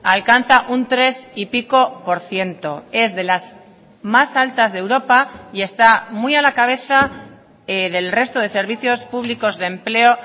alcanza un tres y pico por ciento es de las más altas de europa y está muy a la cabeza del resto de servicios públicos de empleo